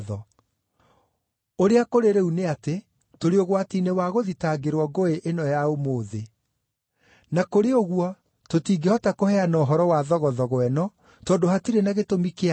Ũrĩa kũrĩ rĩu nĩ atĩ, tũrĩ ũgwati-inĩ wa gũthitangĩrwo ngũĩ ĩno ya ũmũthĩ. Na kũrĩ ũguo tũtingĩhota kũheana ũhoro wa thogothogo ĩno, tondũ hatirĩ na gĩtũmi kĩa yo.”